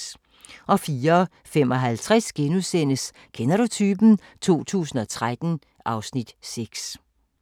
04:55: Kender du typen? 2013 (Afs. 6)*